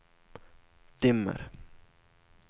dimmer